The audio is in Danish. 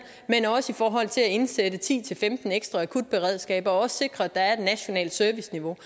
men også i forhold til at indsætte ti til femten ekstra akutberedskaber og sikre at der er et nationalt serviceniveau